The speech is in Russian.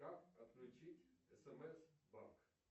как отключить смс банк